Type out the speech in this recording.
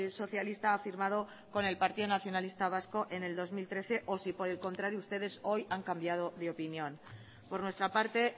socialista ha firmado con el partido nacionalista vasco en el dos mil trece o si por el contrario ustedes hoy han cambiado de opinión por nuestra parte